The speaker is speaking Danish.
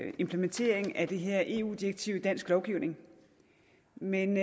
en implementering af det her eu direktiv i dansk lovgivning men